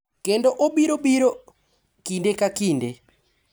Kendo obiro biro, kinde ka kinde,